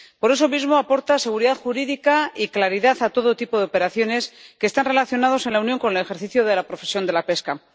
Por eso mismo, aporta seguridad jurídica y claridad a todo tipo de operaciones que están relacionadas en la Unión con el ejercicio de la profesión de la pesca.